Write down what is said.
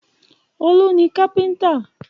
Olú ni kápẹ́ńtà.